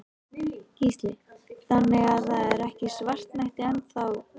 Gísli: Þannig að það er ekki svartnætti enn þá?